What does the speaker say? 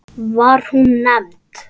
Var hún nefnd